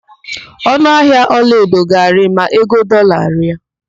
Ọnụahịa ọlaedo ga-arị ma ego dọọla rịa.